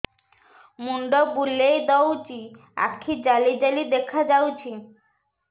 ମୁଣ୍ଡ ବୁଲେଇ ଦଉଚି ଆଖି ଜାଲି ଜାଲି ଦେଖା ଯାଉଚି